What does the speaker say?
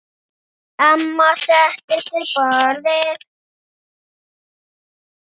Amma settist við borðið.